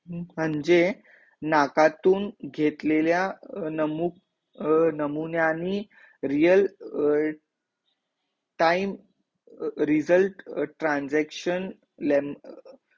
म्हणजे नाकातून घेतलेल्या नमुक अं नमुन्यानी real time result transaction